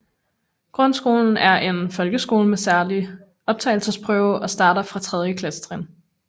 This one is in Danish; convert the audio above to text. Grundskolen er en folkeskole med særlig optagelsesprøve og starter fra tredje klassetrin